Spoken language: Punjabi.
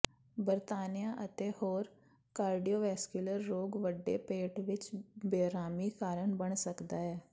ਬਰਤਾਨੀਆ ਅਤੇ ਹੋਰ ਕਾਰਡੀਓਵੈਸਕੁਲਰ ਰੋਗ ਵੱਡੇ ਪੇਟ ਵਿੱਚ ਬੇਅਰਾਮੀ ਕਾਰਨ ਬਣ ਸਕਦਾ ਹੈ